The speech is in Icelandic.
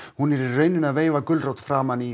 hún í rauninni að veifa gulrót framan í